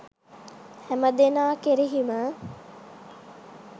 හැමදෙනා කෙරෙහිම